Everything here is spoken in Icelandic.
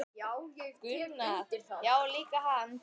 Gunnar: Já líka hann